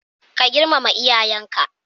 Ka girmama iyayan ka